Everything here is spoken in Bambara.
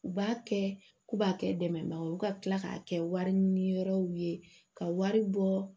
U b'a kɛ k'u b'a kɛ dɛmɛbaga ye o ka tila k'a kɛ wari ɲini yɔrɔw ye ka wari bɔ